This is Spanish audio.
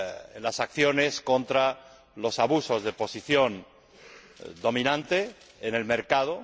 en las acciones contra los abusos de posición dominante en el mercado.